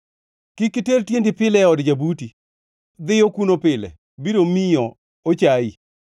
Kik iter tiendi pile e od jabuti, dhiyo kuno pile, biro miyo ochayi.